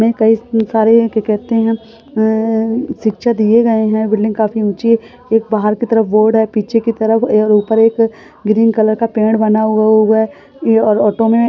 कई सारे कहते है शिक्षा दिए गए है बिल्डिंग काफी ऊँची एक बाहर की तरफ बोर्ड है पीछे की तरफ और ऊपर एक ग्रीन कलर का पेड़ बना हुआ है और ऑटो में --